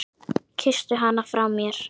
Kysstu hana frá mér.